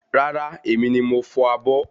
Rárá, èmi ni mo ń fọ̀ abọ́